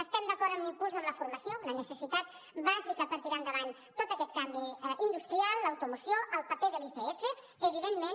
estem d’acord amb l’impuls en la formació una necessitat bàsica per a tirar endavant tot aquest canvi industrial l’automoció el paper de l’icf evidentment